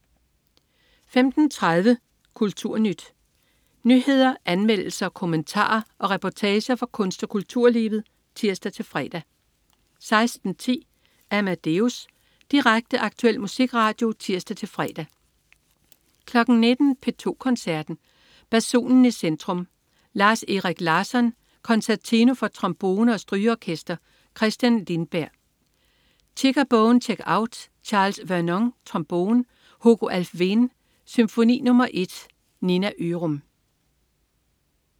15.30 KulturNyt. Nyheder, anmeldelser, kommentarer og reportager fra kunst- og kulturlivet (tirs-fre) 16.10 Amadeus. Direkte, aktuel musikradio (tirs-fre) 19.00 P2 Koncerten. Basunen i centrum. Lars-Erik Larsson: Concertino for trombone og strygeorkester. Christian Lindberg: Chicka Bone Checkout. Charles Vernon, trombone. Hugo Alfvén: Symfoni nr. 1. Nina Ørum